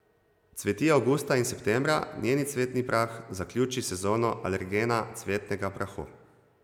Cveti avgusta in septembra, njen cvetni prah zaključi sezono alergenega cvetnega prahu.